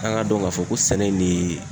An k'a dɔn k'a fɔ ko sɛnɛ in ne